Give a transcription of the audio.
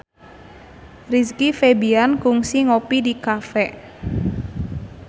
Rizky Febian kungsi ngopi di cafe